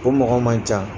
O mɔgɔ man ca